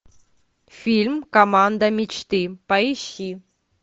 фильм команда мечты поищи